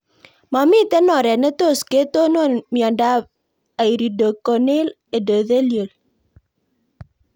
Mamito oret ne tos ketonon miondop iridocorneal endothelial